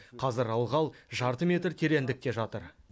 қазір ылғал жарты метр тереңдікте жатыр